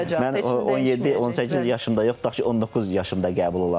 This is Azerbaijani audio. Yəni 17, 18 yaşımda yox, tutaq ki, 19 yaşımda qəbul olardım.